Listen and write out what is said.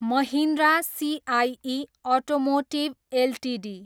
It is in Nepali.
Mahindra CIE automotive Ltd